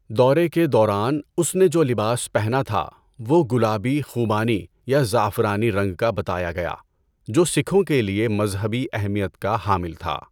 دورے کے دوران، اس نے جو لباس پہنا تھا وہ گلابی خوبانی یا زعفرانی رنگ کا بتایا گیا، جو سکھوں کے لیے مذہبی اہمیت کا حامل تھا۔